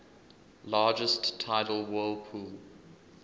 largest tidal whirlpool